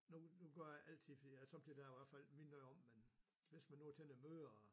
Nu nu gør jeg altid fordi at så bliver der i hvert fald mindet om men hvis nu man er til noget møder og